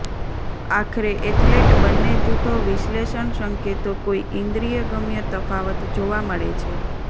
આખરે એથ્લેટ બંને જૂથો વિશ્લેષણ સંકેતો કોઈ ઈન્દ્રિયગમ્ય તફાવત જોવા મળે છે